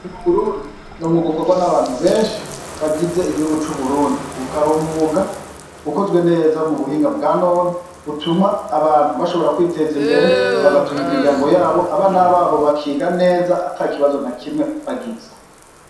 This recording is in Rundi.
Burundi no mwugukorwa n'abantu benshi bagize igihugu c'uburundi ukaba mwuga ukozwe neza mu buhinga bwa noni utuma abantu bashobora kwiteza imbere bagatumwa imiryango yabo abana babo bakiga neza ata ikibazo na kimwe bagize.